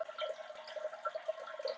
Þegar þeir fæðast